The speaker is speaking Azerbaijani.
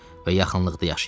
və yaxınlıqda yaşayırdı.